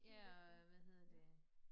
Ja og hvad hedder det